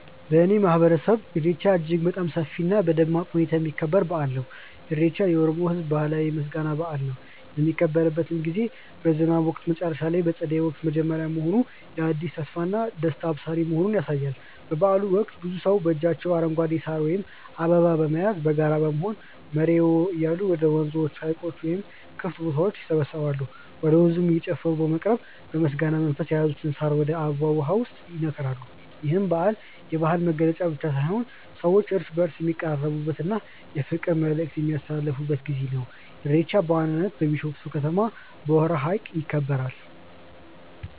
በእኔ ማህበረሰብ ኢሬቻ እጅግ በጣም በሰፊ እና በደማቅ ሁኔታ የሚከበር በአል ነው። ኢሬቻ የኦሮሞ ህዝብ ባህላዊ የምስጋና በአል ነው። የሚከበርበት ጊዜም በዝናብ ወቅት መጨረሻ እና በፀደይ ወቅት መጀመሪያ መሆኑ የአዲስ ተስፋና ደስታ አብሳሪ መሆኑን ያሳያል። በበአሉ ወቅት ብዙ ሰዎች በእጃቸው አረንጓዴ ሳር ወይም አበባ በመያዝና በጋራ በመሆን "መሬዎ" እያሉ ወደ ወንዞች፣ ሀይቆች ወይም ክፍት ቦታዎች ይሰባሰባሉ። ወደ ወንዙም እየጨፈሩ በመቅረብ በምስጋና መንፈስ የያዙትን ሳር ወይም አበባ ውሃው ውስጥ ይነክራሉ። ይህ በዓል የባህል መገለጫ ብቻ ሳይሆን ሰዎች እርስ በእርስ የሚቀራረቡበት እና የፍቅር መልዕክት የሚያስተላልፉበት ጊዜ ነው። ኢሬቻ በዋናነት በቢሾፍቱ ከተማ በሆራ ሀይቅ ይከበራል።